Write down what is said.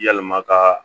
Yalima kaa